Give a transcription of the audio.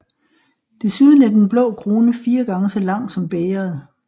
Desuden er den blå krone fire gange så lang som bægeret